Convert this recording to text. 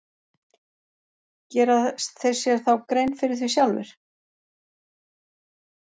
Gera þeir sér þá grein fyrir því sjálfir?